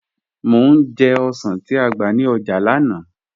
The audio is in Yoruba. Mọ̀ ní jẹ̀ ọ̀ṣàn ti á gba ní ọ́jà lánà